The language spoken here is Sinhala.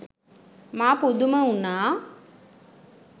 මා පුදුම වුනා.